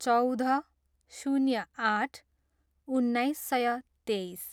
चौध, शून्य आठ, उन्नाइस सय तेइस